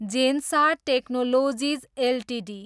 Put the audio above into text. Zensar technologies Ltd